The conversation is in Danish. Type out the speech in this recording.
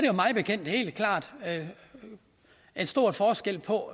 jo mig bekendt helt klart en stor forskel på